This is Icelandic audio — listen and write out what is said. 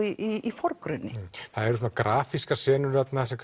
í forgrunni það eru svona grafískar senur þarna sem